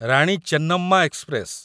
Rani Chennamma express